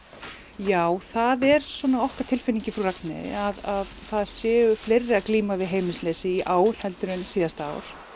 já það er svona okkar tilfinning í Frú Ragnheiði að það séu fleiri að glíma við heimilisleysi í ár heldur en síðasta ár